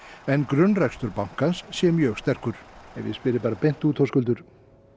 en grunnrekstur bankans sé mjög sterkur ef ég spyr þig beint út Höskuldur